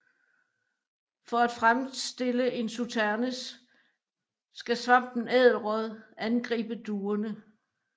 For at fremstille en sauternes skal svampen ædelråd angribe druerne